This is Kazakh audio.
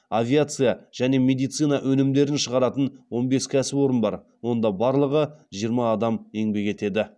авиция және медицина өнімдерін шығаратын он бес кәсіпорын бар онда барлығы жиырма адам еңбек етеді